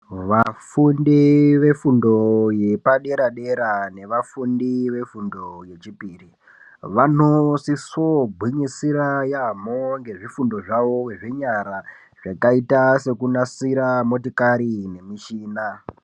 Vafundi ve fundo yepa dera dera ne vafundi ve fundo ye chipiri vano siso gwinyisira yamho ngezvi fundo zvawo zve nyara zvakaita seku nasira motikari ne mishina.